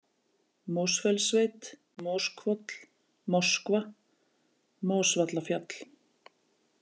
Mosfellssveit, Moshvoll, Moskva, Mosvallafjall